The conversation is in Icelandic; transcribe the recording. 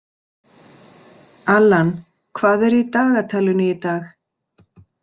Allan, hvað er í dagatalinu í dag?